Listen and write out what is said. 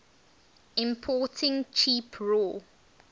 importing cheap raw